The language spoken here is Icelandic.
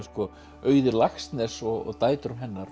Auði Laxness og dætrum hennar